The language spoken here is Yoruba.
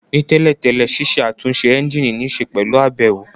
Ní tẹ́lẹ̀ tẹ́lẹ̀, ṣiṣẹ́ àtúnṣe ẹ́ńjìnì níṣe pẹ̀lú àbẹ̀wò